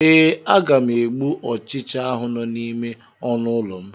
Ee, aga m egbu ọchịcha ahụ nọ n'ime ọnụ ụlọ m.